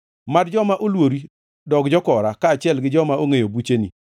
Mad joma oluori dog jokora, kaachiel gi joma ongʼeyo bucheni.